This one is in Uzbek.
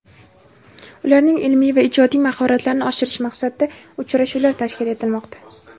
ularning ilmiy va ijodiy mahoratlarini oshirish maqsadida uchrashuvlar tashkil etilmoqda.